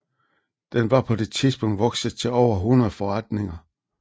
Den var på det tidspunkt vokset til over 100 forretninger